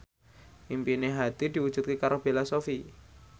impine Hadi diwujudke karo Bella Shofie